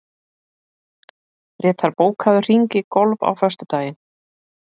Grétar, bókaðu hring í golf á föstudaginn.